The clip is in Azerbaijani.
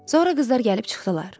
Sonra qızlar gəlib çıxdılar.